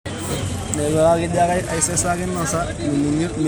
Enkitengenare eramatare etenakata keponaa aesidano tolairemok